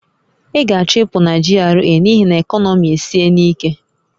Ị ga-achọ ịpụ na GRA n'ihi na ekọnọmi esiena ike!